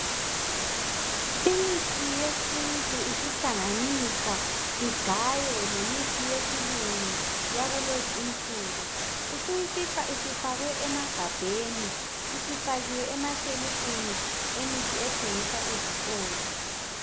Imithi yesintu isihlanganiswa igaywe lemithi yesilungu yakulezinsuku. Usuyifica isifakwe emagabheni, isifakiwe emashelufini emithi ethengiswa ezitolo.